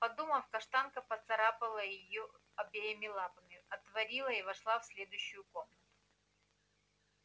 подумав каштанка поцарапала её обеими лапами отворила и вошла в следующую комнату